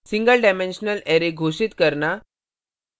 single dimensional array single dimensional arrays घोषित करना